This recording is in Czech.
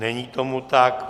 Není tomu tak.